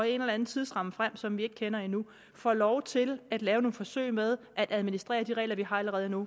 en eller anden tidsramme frem som vi ikke kender endnu får lov til at lave nogle forsøg med at administrere de regler vi har allerede nu